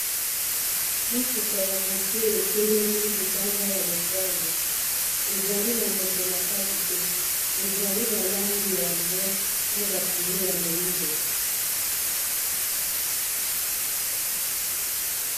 mutuka ya moke etelemi libanda ya lopango ezali na moto na kati te ezali na lange ya mbwi na bapine ya moindo